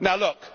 Now, look.